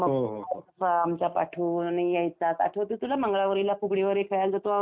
आमच्या पाठून यायचास, आठवतंय तुला मंगळागौरीला फुगडी वगैरे खेळायला जायचो आठवतंय तुला?